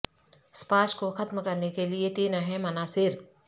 سپاش کو ختم کرنے کے لئے تین اہم عناصر